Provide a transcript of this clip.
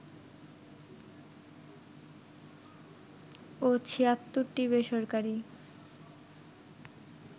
ও ৭৬টি বেসরকারি